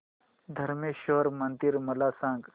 धरमेश्वर मंदिर मला सांग